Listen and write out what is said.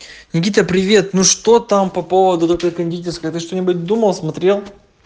никита привет ну что там по поводу такое кондитерская ты что-нибудь думал смотрел